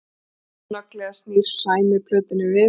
Snögglega snýr Sæmi plötunni við